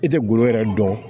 I tɛ golo yɛrɛ dɔn